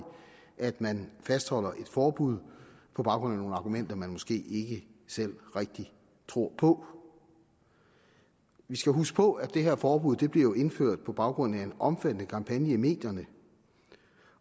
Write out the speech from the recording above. at man fastholder et forbud på baggrund af nogle argumenter man måske ikke selv rigtig tror på vi skal huske på at det her forbud jo blev indført på baggrund af en omfattende kampagne i medierne